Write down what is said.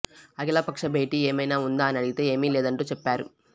అఖిల పక్ష భేటీ ఏమైనా ఉందా అని అడిగితే ఏమీ లేదంటూ చెప్పారు